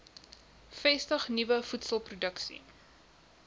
vestig nuwe voedselproduksie